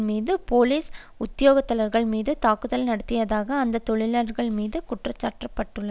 மீதும் போலிஸ் உத்தியோகத்தர்கள் மீதும் தாக்குதல் நடத்தியதாக இந்த தொழிலாளர்கள் மீது குற்றஞ்சாட்டப்பட்டுள்ளது